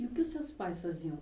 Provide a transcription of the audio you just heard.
E o que os seus pais faziam?